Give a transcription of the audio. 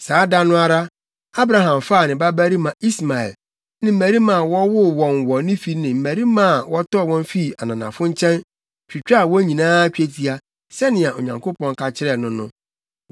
Saa da no ara, Abraham faa ne babarima Ismael ne mmarima a wɔwoo wɔn wɔ ne fi ne mmarima a wɔtɔɔ wɔn fii ananafo nkyɛn, twitwaa wɔn nyinaa twetia, sɛnea Onyankopɔn ka kyerɛɛ no no.